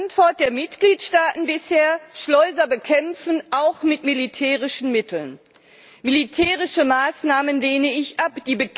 Die Antwort der Mitgliedstaaten bisher Schleuser bekämpfen, auch mit militärischen Mitteln. Militärische Maßnahmen lehne ich ab.